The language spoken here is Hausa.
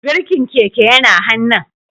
Birkin keke yana hannun